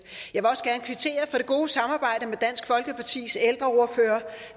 jeg det gode samarbejde med dansk folkepartis ældreordfører